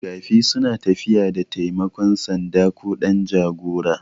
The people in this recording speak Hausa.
Makafi suna tafiya da taimakon sanda ko ɗan jagora